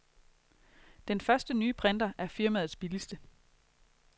Den første nye printer er firmaets billigste.